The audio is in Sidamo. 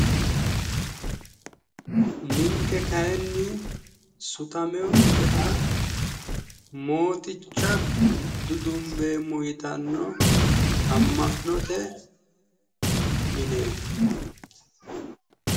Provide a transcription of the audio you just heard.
Ninke kayinni sutameyonkeha moticha dudumbeemmo yitanno amma'note mineeti.